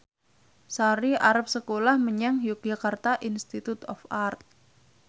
Sari arep sekolah menyang Yogyakarta Institute of Art